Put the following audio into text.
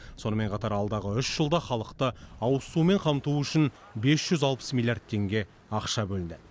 сонымен қатар алдағы үш жылда халықты ауызсумен қамту үшін бес жүз алпыс миллиард теңге ақша бөлінді